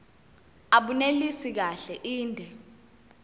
abunelisi kahle inde